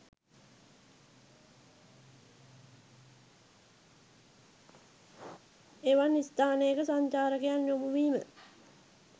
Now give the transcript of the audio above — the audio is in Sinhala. එවන් ස්ථානයක සංචාරකයන් යොමු වීම